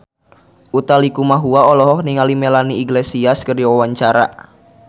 Utha Likumahua olohok ningali Melanie Iglesias keur diwawancara